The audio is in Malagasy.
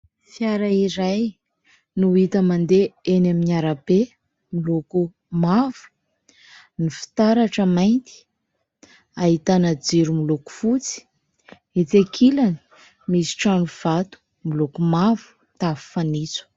Fiara iray no hita mandeha eny amin'ny arabe miloko mavo, ny fitaratra mainty, ahitana jiro miloko fotsy. Etsy ankilany misy trano vato moloko mavo, tafo fanitso.